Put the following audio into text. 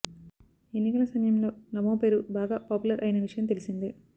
ఎన్నికల సమయంలో నమో పేరు బాగా పాపులర్ అయిన విషయం తెలిసిందే